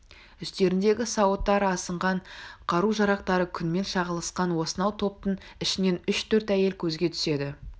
үстеріндегі сауыттары асынған қару-жарақтары күнмен шағылысқан осынау топтың ішінен үш-төрт әйел көзге түседі